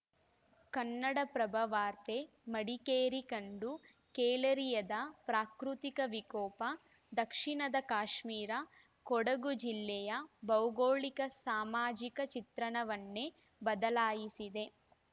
ಕನ್ನಡಪ್ರಭ ವಾರ್ತೆ ಮಡಿಕೇರಿ ಕಂಡು ಕೇಳರಿಯದ ಪ್ರಾಕೃತಿಕ ವಿಕೋಪ ದಕ್ಷಿಣದ ಕಾಶ್ಮೀರ ಕೊಡಗು ಜಿಲ್ಲೆಯ ಭೌಗೋಳಿಕ ಸಾಮಾಜಿಕ ಚಿತ್ರಣವನ್ನೇ ಬದಲಾಯಿಸಿದೆ